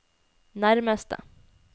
nærmeste